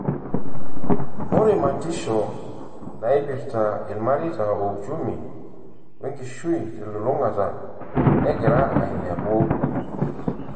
Ore matisho naipirta ilmareita o uchumi o enkishui telulungata negira ailepu.